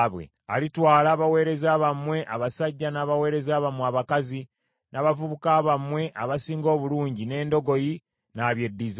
Alitwala abaweereza bammwe abasajja n’abaweereza bammwe abakazi, n’abavubuka bammwe abasinga obulungi n’endogoyi, n’abyeddiza.